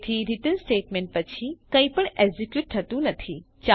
તેથી return statement પછી કંઈ પણ એકઝીકયુટ થતું નથી